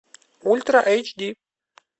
ультра эйч ди